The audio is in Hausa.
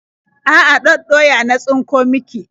A'a, ɗaɗɗoya na tsinko miki.